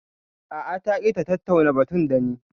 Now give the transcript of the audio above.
A'a ta ƙi ta tattauna batun dani